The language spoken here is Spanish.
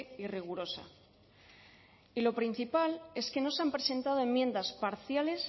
y rigurosa y lo principal es que no se han presentado enmiendas parciales